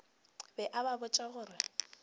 be a ba botša gore